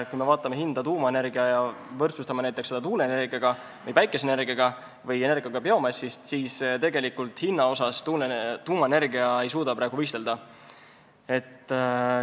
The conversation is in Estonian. Kui me võrdleme tuumaenergiat näiteks tuuleenergia, päikeseenergia või biomassist toodetud energiaga, siis näeme, et hinna poolest ei suuda tuumaenergia praegu nendega võistelda.